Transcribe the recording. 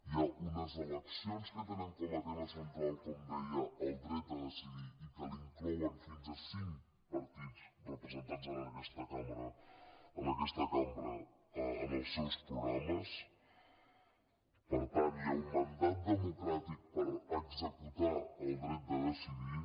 hi ha unes eleccions que tenen com a tema central com deia el dret a decidir i que l’inclouen fins a cinc partits representats en aquesta cambra en els seus programes per tant hi ha un mandat democràtic per executar el dret de decidir